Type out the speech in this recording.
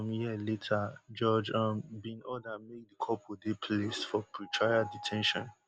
mi ye later judge um bin order make di couple dey placed for pretrial de ten tion